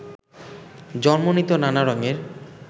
জন্ম নিত নানা রঙের